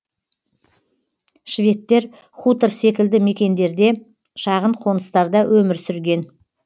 шведтер хутор секілді мекендерде шағын қоныстарда өмір сүрген